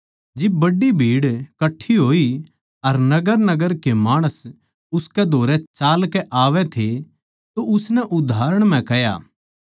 जिब बड्डी भीड़ कट्ठी होई अर नगरनगर के माणस उसकै धोरै चालकै आवै थे तो उसनै उदाहरण म्ह कह्या